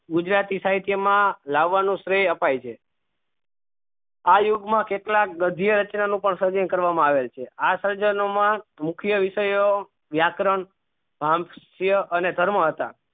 ગુજરાતી સાહિત્ય મા લવાનું શ્રેય આપાય છે આ યુગ માં કેટલાક ગધ્ય રચના નું સર્જન પણ કરવા માં આવે છે આ સર્જનો માં મુખ વિષયો વ્યાકરણ અને કર્મ હતા